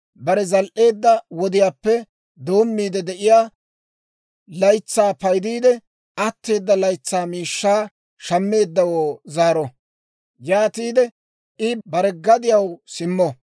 bare zal"eedda wodiyaappe doommiide de'iyaa laytsaa paydiidde, atteeda laytsaa miishshaa shammeeddawoo zaaro; yaatiide I bare gadiyaw simmo.